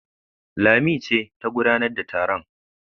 Lami ce ta gudanar da taron.